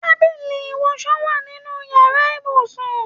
Tábìlì iwọsọ wa nínú yàrá ibùsùn